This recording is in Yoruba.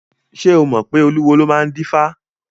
Ṣé o mọ̀ pé olúwo ló máa ń dífá?